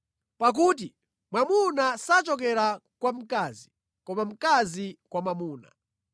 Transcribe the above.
Pakuti mwamuna sachokera kwa mkazi, koma mkazi kwa mwamuna.